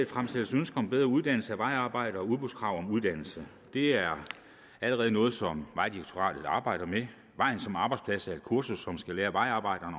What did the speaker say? fremsættes ønske om bedre uddannelse af vejarbejdere og udbudskrav om uddannelse det er allerede noget som vejdirektoratet arbejder med vejen som arbejdsplads er et kursus som skal lære vejarbejderne